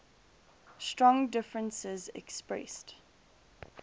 strong differences expressed